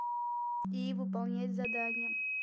и выполнять задание